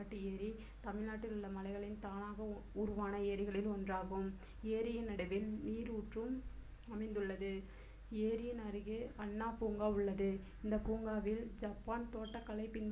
ஏற்காட்டு ஏரி தமிழ்நாட்டில் உள்ள மலைகளில் தானாக உருவான ஏரிகளில் ஒன்றாகும் ஏரியின் நடுவில் நீருற்றும் அமைந்துள்ளது ஏரியின் அருகே அண்ணா பூங்கா உள்ளது இந்த பூங்காவில் ஜப்பான் தோட்டக்கலையைப் பின்பற்றி